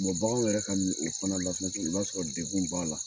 bagan yɛrɛ ka mun o fana la i b'a sɔrɔ degun b'a la